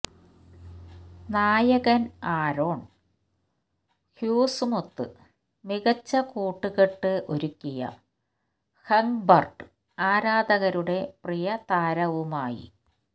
നായകൻ ആരോൺ ഹ്യൂഗ്സുമൊത്ത് മികച്ച കൂട്ടുകെട്ട് ഒരുക്കിയ ഹെങ്ബർട്ട് ആരാധകരുടെ പ്രിയ താരവുമായി